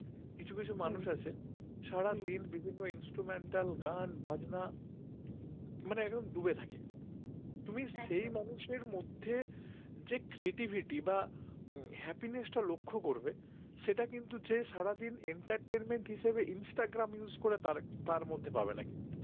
যে creativity বা happiness টা লক্ষ্য করবে সেটা কিন্তু যে সারাদিন entertainment হিসাবে instagram use করে তার মধ্যে পাবে না কিন্তু